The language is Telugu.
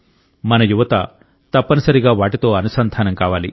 మన యువత తప్పనిసరిగా వాటితో అనుసంధానం కావాలి